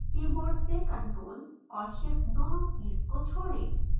keyboard से ctrl और shift दोनों कीज़ को छोड़ें